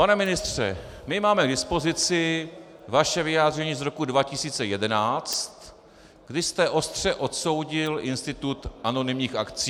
Pane ministře, my máme k dispozici vaše vyjádření z roku 2011, kdy jste ostře odsoudil institut anonymních akcií.